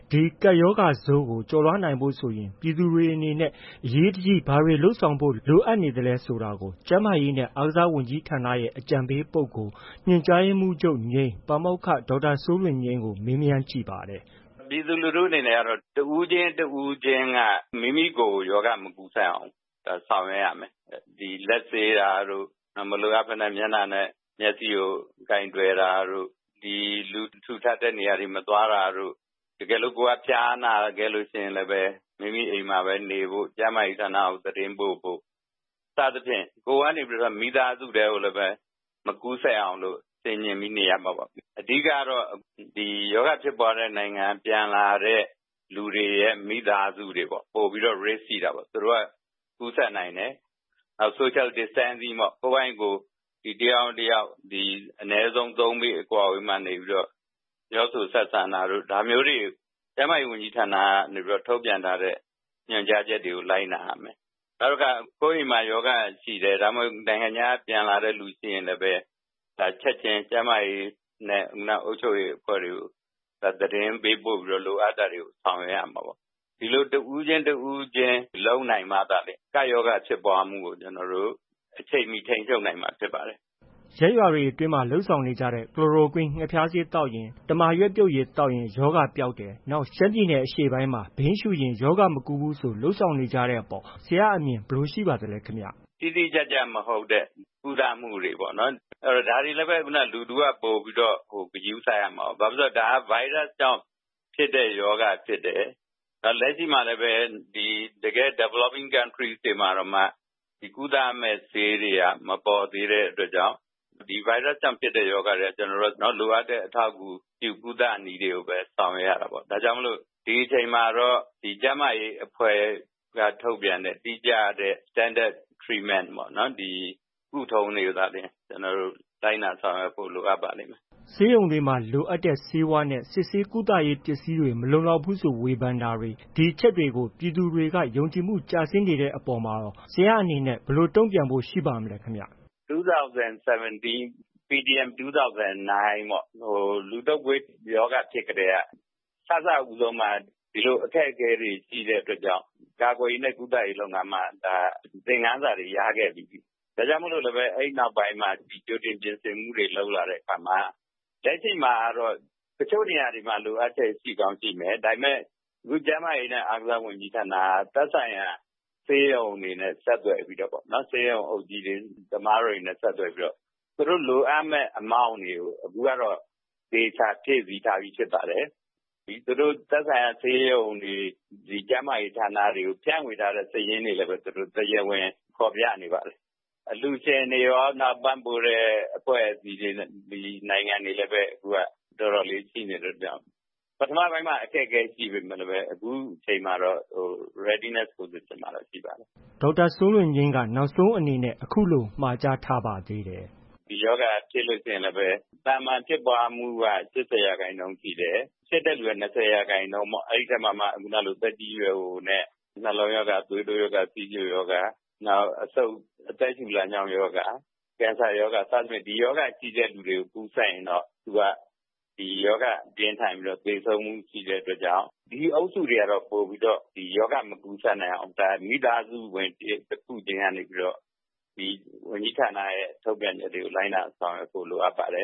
ဒီ ကပ်ရောဂါဆိုးကို ကျော်လွှားနိုင်ဖို့ဆိုရင် ပြည်သူတွေအနေနဲ့ အရေးတကြီး ဘာတွေ လုပ်ဆောင်ဖို့ လိုအပ်နေပါသလဲဆိုတာကို ကျန်းမာရေးနှင့် အားကစားဝန်ကြီးဌာနရဲ့ အကြံပေးပုဂ္ဂိုလ်၊ ညွှန်ကြားရေးမှူးချုပ် ပါမောက္ခ ဒေါက်တာစိုးလွင်ငြိမ်းကို မေးမြန်းကြည့်ပါတယ်။ ဒေါက်တာစိုးလွင်ငြိမ်း။ ။ ပြည်သူလူထုအနေနဲ့ကတော့ တဦးချင်း တဦးချင်းက မိမိကိုယ်ကို ရောဂါ မကူးစက်အောင် ဆောင်ရွက်ရမယ်။ ဒီလက်ဆေးတာတို့၊ မလိုအပ်ဘဲနဲ့ မျက်နှာနဲ့ မျက်စေ့ကို ကိုင်တွယ်တာတို့၊ လူထူထပ်တဲ့နေရာတွေ မသွားတာတို့၊ တကယ်လို့ ကိုယ်က ဖျားနာလို့ရှိရင်လည်း မိမိအိမ်မှာဘဲနေဖို့၊ ကျန်းမာရေးဌာနကို သတင်းပို့ဖို့၊ စသည်ဖြင့် ကိုယ်ကနေပြီးတော့ မိသားစုထဲကိုလည်းပဲ မကူးစက်အောင်လို့ ဆင်ခြင်ပြီးနေရမှာပေါ့။ အဓိကကတော့ ဒီရောဂါဖြစ်ပွားတဲ့နိုင်ငံက ပြန်လာတဲ့ မိသားစုတွေပေါ့။ သူတို့က ပိုပြီးတော့ Risk ရှိတာပေါ့။ သူတို့က ပိုပြီး ကူးစက်နိုင်တယ်။ Social Distancing ပေါ့။ ကိုယ့်ဖာကိုယ် တယောက်နဲ့တစ်ယောက် အနည်းဆုံး ၃ ပေ အကွာအဝေးမှာနေပြီးတော့ ပြောဆိုဆက်ဆံတာတို့ ဒါမျိုးတွေ ကျန်းမာရေးဝန်ကြီးဌာနက ထုတ်ပြန်ထားတဲ့ ညွှန်ကြားချက်တွေကို လိုက်နာရမယ်။ နောက် ကိုယ့်အိမ်မှာ ရောဂါရှိတယ်။ ဒါမှမဟုတ် နိုင်ငံခြားက ပြန်လာတဲ့လူရှိရင်လည်း ချက်ချင်း ကျန်းမာရေးနဲ့ အုပ်ချုပ်ရေးအဖွဲ့တွေကို သတင်းပေးပို့ပြီး လိုအပ်တာတွေကို ဆောင်ရွက်ရမှာပေါ့။ ဒီလို တဦးချင်း တဦးချင်းလုပ်နိုင်မှသာ ကပ်ရောဂါဖြစ်ပွားမှုကို အချိန်မှီ ထိန်းချုပ်နိုင်မှာ ဖြစ်ပါတယ်။ ကိုမိုးဇော်။ ။ ရပ်ရွာတွေအတွင်းမှာ လုပ်ဆောင်နေကြတဲ့ ကလိုရိုကွင်း ငှက်ဖျားဆေးသောက်ရင်၊ တမာရွက်ပြုတ်ရည် သောက်ရင် ရောဂါပျောက်တယ်၊ နောက် ရှမ်းပြည်နယ်အရှေ့ပိုင်းမှာ ဘိန်းရှုရင်ရောဂါမကူးဘူးဆို လုပ်ဆောင်နေတဲ့အပေါ် ဆရာအမြင် ဘယ်လိုရှိပါသလဲခင်ဗျ။ ဒေါက်တာစိုးလွင်ငြိမ်း- တိတိကျကျမဟုတ်တဲ့ ကုသမှုတွေပေ့ါ။ ဒါတွေလည်းပဲ လူထုက ပိုပြီး ဂရုစိုက်ရမှာပေါ့။ ဘာဖြစ်လို့လည်း ဆိုတော့ ဗိုင်းရပ်စ်ကြောင့် ဖြစ်တဲ့ရောဂါဖြစ်တယ်။ နောက်လက်တွေ့မှာလည်းပဲ တကယ့် Developing Countries တွေတောင်မှ ကုသရမယ့် ဆေးတွေက မပေါ်သေးတဲ့အတွက်ကြောင့်၊ ဒီဗိုင်းရပ်စ်ကြောင့်ဖြစ်တဲ့ ရောဂါတွေက ကျနော်တို့က လိုအပ်တဲ့ အထောက်အကူပြုကုသနည်းတွေကိုပဲ ဆောင်ရွက်ရတာပေါ့။ ဒါကြောင့်မို့လို့ ဒီအချိန်မှာတော့ ကျန်းမာရေးအဖွဲ့က ထုတ်ပြန်တဲ့ တိကျတဲ့ Standard Treatment ကုထုံတွေသာလျှင် လိုက်နာဆောင်ရွက်ဖို့ လိုအပ်ပါလိမ့်မယ်။ ကိုမိုးဇော်။ ။ ဆေးရုံတွေမှာ လိုအပ်တဲ့ဆေးဝါးနဲ့ စစ်ဆေး၊ကုသရေးပစ္စည်းတွေ မလုံလောက်ဘူးဆို ဝေဖန်တာတွေ၊ ဒီအချက်တွေကို ပြည်သူတွေက ယုံကြည်မှုကျဆင်းနေတာတွေအပေါ်မှာကော ဆရာအနေနဲ့ ဘယ်လို တုံ့ပြန်ဖို့ ရှိပါမလဲ။ ဒေါက်တာစိုးလွင်ငြိမ်း။ ။ ၂၀၁၇ - PDM 2009 ပေါ့။ လူတုပ်ကွေးဖြစ်ကတည်းက စစဦးဆုံးမှာ ဒီလို အခက်အခဲတွေ ရှိတဲ့အတွက်ကြောင့် ကာကွယ်ရေးနဲ့ ကုသရေးမှာ ဒီလို သင်ခန်းစာတွေ ရခဲ့ပြီးပြီလေ။ ဒါကြောင့်မို့လို့လည်း အဲဒီနောက်ပိုင်းမှာ ကြိုတင်ပြင်ဆင်မှုတွေ လုပ်လာတဲ့အခါမှာ လက်ရှိမှာတော့ တချို့နေရာတွေမှာ လိုအပ်ချက် ရှိကောင်းရှိမယ်။ ဒါပေမဲ့ ခု ကျန်းမာရေးနဲ့ အားကစားဝန်ကြီးဌာနက သက်ဆိုင်ရာ ဆေးရုံတွေနဲ့ ဆက်သွယ်ပြီးတော့ ဆေးရုံအုပ်ကြီးတွေ၊ သမားတော်တွေနဲ့ ဆက်သွယ်ပြီးတော့ပေါ့ သူတို့လိုအပ်မယ့် amount တွေကို အခုကတော့ သေချာဖြည့်ဆည်းထားပြီး ဖြစ်ပါတယ်။ သက်ဆိုင်ရာဆေးရုံတွေ၊ ကျန်းမာရေးဌာနတွေကို ဖြန့်ဝေထားတဲ့ စာရင်းတွေကိုလည်း သူတို့ တရားဝင်ဖော်ပြနေပါတယ်။ အလှုရှင်တွေရော၊ ပံ့ပိုးတဲ့ အဖွဲ့အစည်းတွေ၊ နိုင်ငံတွေလည်းပဲ အတော်လေး ရှိနေတဲ့အတွက်ကြောင့် ပထမပိုင်းမှာ အခက်အခဲရှိပေမဲ့လည်းပဲ အခုချိန်မှာ Readiness Position မှာတော့ ရှိပါတယ်။ ဒေါက်တာစိုးလွင်ငြိမ်းက နောက်ဆုံးအနေနဲ့ အခုလို မှာကြားထားပါသေးတယ်။ ဒေါက်တာ စိုးလွင်ငြိမ်း။ ။ ဒီရောဂါက ဖြစ်ပွားလို့ရှိရင်လည်း သာမန်ဖြစ်ပွားမှုက ၈၀ ရာခိုင်နှုန်းရှိတယ်။ ဖြစ်တဲ့လူရဲ့ ၂၀ ရာခိုင်နှုန်းပေါ့။ အဲဒီထဲမှာမှ သက်ကြီးရွယ်အိုနဲ့ နှလုံးရောဂါ၊ သွေးတိုးရောဂါ၊ ဆီးချိုရောဂါ နောက် အဆုတ်၊ အသက်ရှုလမ်းကြောင်း ရောဂါ၊ ကင်ဆာရောဂါ စသည့်ဖြင့် ဒီရောဂါရှိသူတွေကူးစက်ရင်တော့ သူက ရောဂါပြင်းထန်ပြီး သေဆုံးမှုရှိတဲ့အတွက်ကြောင့် ဒီအုပ်စုတွေကတော့ ပိုပြီးတော့ ရောဂါမကူးစက်နိုင်အောင် မိသားစုဝင်တစ်ခုချင်းကနေပြီးတော့ ဝန်ကြီးဌာနရဲ့ ထုတ်ပြန်ချက်တွေကို လိုက်နာ ဆောင်ရွက်ဖို့ လိုအပ်ပါတယ